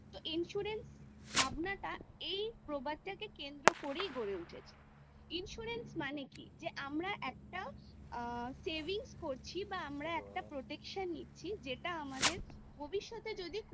তো insurance এর ভাবনাটা এই প্রবাদকে কেন্দ্র করেই গড়ে উঠেছেI insurance মানে কি যে আমরা একটা savings করছি বা আমরা protection নিচ্ছি যেটা আমাদের ভবিষ্যতে যদি